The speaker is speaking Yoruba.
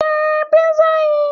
Je pizza yìí